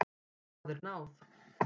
Það er náð.